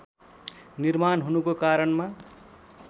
निर्माण हुनुको कारणमा